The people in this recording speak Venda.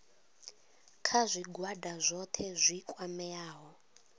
kha zwigwada zwohe zwi kwameaho